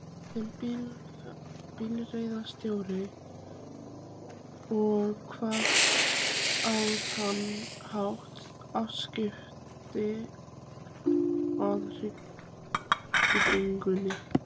sem bifreiðarstjóri, og hafði á þann hátt afskipti af byggingunni.